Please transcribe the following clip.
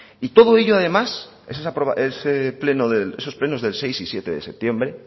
y todo ello además esos plenos del seis y siete de septiembre